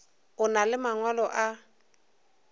o na le mangwalo a